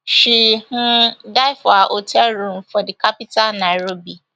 she um die for her hotel room for di capital nairobi